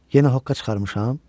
Yenə hoqqa çıxarmışam?